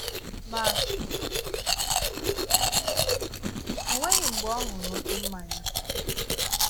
Ma, o nweghị̀ mgbe ọ ṅụrụ oké mmànya.